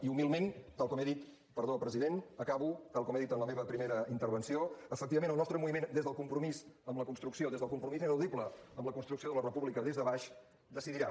i humilment tal com he dit perdó president acabo en la meva primera intervenció efectivament el nostre moviment des del compromís amb la construcció des del compromís ineludible amb la construcció de la república des de baix decidirà